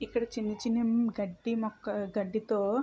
ఇక్కడ చిన్ని చిన్ని గడ్డి మొక్క ఆ గడ్డితో--